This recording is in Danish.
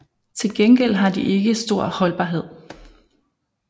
Til gengæld har de ikke stor holdbarhed